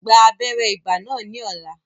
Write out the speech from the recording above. Gba abéré ibà náà ní ní ọ̀la